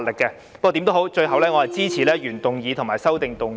不過，無論如何，我支持原議案和修正案。